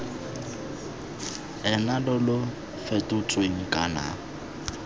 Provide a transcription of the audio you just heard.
ena lo lo fetotsweng kana